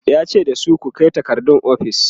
yace dasu "ku Kai takardun ofis!"